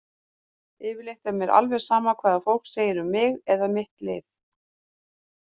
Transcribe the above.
Yfirleitt er mér alveg sama hvað fólk segir um mig eða mitt lið.